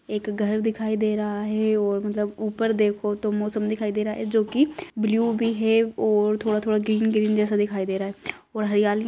एक घर दिखाई दे रहा है और मतलब ऊपर देखो तो मौसम दिखाई दे रहा है जो की ब्लू भी है और थोड़ा-थोड़ा ग्रीन जैसा भी दिखाई दे रहा है और हरियाली --